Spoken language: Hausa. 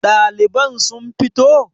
Daliban sun fito?